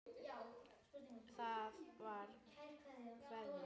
Það var Kveðja.